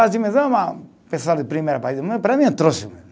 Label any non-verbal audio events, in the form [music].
[unintelligible] pessoal de primeiro país, para mim é trouxa mesmo.